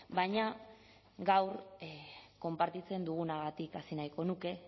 baina gaur konpartitzen dugunagatik hasi nahiko nuke